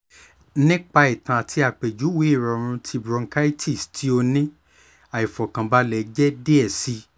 nipa itan ati apejuwe irọrun ti bronchitis ti o ni aifọkanbalẹ jẹ diẹ sii